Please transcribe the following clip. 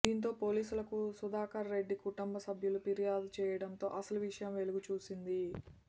దీంతో పోలీసులకు సుధాకర్ రెడ్డి కుటుంబసభ్యులు ఫిర్యాదు చేయడంతో అసలు విషయం వెలుగు చూసింది